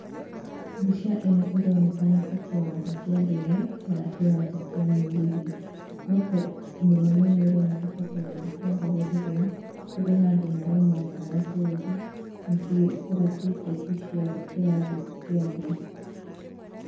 Mbica ĩno ĩronekana ta kĩwanja kĩa ndege, kana kĩwanja kĩa mũgithi. No kaĩ mũno mũno ĩroneka ta kĩwanja kĩa ndege rĩrĩa, kũrĩ na andũ marauma nja wa bũrũri, makĩgũra tiketi cia kĩrathi kĩa thĩ.